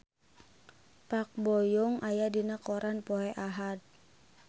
Park Bo Yung aya dina koran poe Ahad